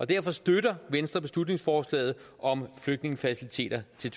derfor støtter venstre beslutningsforslaget om flygtningefaciliteter til